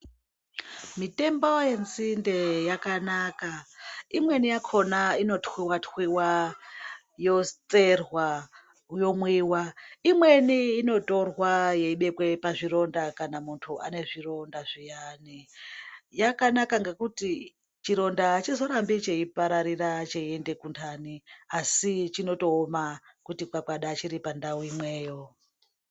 Mitombo yenzinde yakanaka imweni yakona inotwiwa twiwa yotserwa yomwiwa imweni inotorwa yobekwe pazvironda kana munthu ane zvironda zviyani yakanaka ngekuti chironda achizorambi cheipararira cheiende kundani asi chinooma kuti papata chiri pandau imwe.